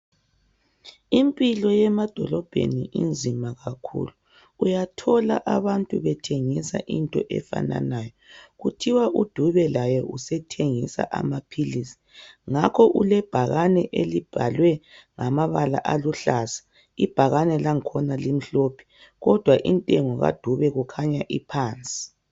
Impilo yemadolobheni inzima kakhulu. Uyathola abantu bethengisa into efananayo. Kuthiwa Dube laye usethengisa amaphilisi. Ngakho, ulebhakane elibhalwe ngamabala aluhlaza, ibhakane langkhona limhlophe. Kodwa intengo kaDube kukhanya iphansi.